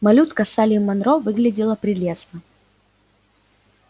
малютка салли манро выглядела прелестно